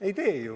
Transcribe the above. Ei tee ju nii.